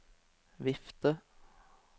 vifte